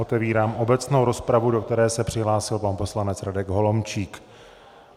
Otevírám obecnou rozpravu, do které se přihlásil pan poslanec Radek Holomčík.